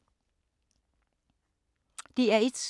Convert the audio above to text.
DR1